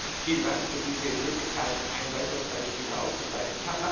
Vielen Dank für diese Möglichkeit, ein weiteres Beispiel herauszugreifen.